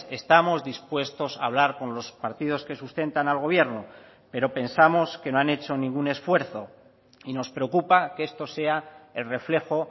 estamos dispuestos a hablar con los partidos que sustentan al gobierno pero pensamos que no han hecho ningún esfuerzo y nos preocupa que esto sea el reflejo